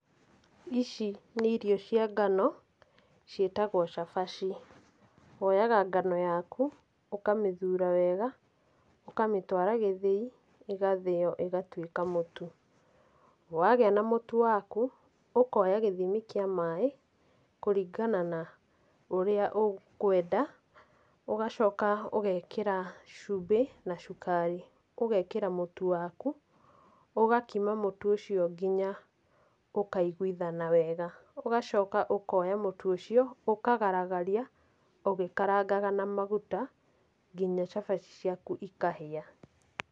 Ici nĩ irio cia ngano, ciĩtagwo cabaci. Woyaga ngano yaku ũkamĩthura wega, ũkamĩtwara gĩthĩi, ĩgathĩo ĩgatuĩka mũtu. Wagĩa na mũtu waku, ũkoya gĩthimi kĩa maĩ, kũringana na ũrĩa ũkwenda, ũgacoka ũgekĩra cumbĩ na cukari. Ũgekĩra mũtu waku, ũgakima mũtu ũcio nginya ũkaiguithana wega. Ũgacoka ũkoya mũtu ũcio, ũkagaragaria, ũgĩkarangaga na maguta, nginya cabaci ciaku ikahĩa.